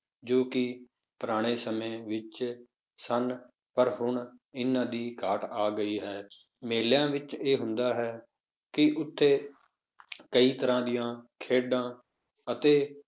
ਜੋ ਕਿ ਪੁਰਾਣੇ ਸਮੇਂ ਵਿੱਚ ਸਨ ਪਰ ਹੁਣ ਇਹਨਾਂ ਦੀ ਘਾਟ ਆ ਗਈ ਹੈ, ਮੇਲਿਆਂ ਵਿੱਚ ਇਹ ਹੁੰਦਾ ਹੈ ਕਿ ਉੱਥੇ ਕਈ ਤਰ੍ਹਾਂ ਦੀਆਂ ਖੇਡਾਂ ਅਤੇ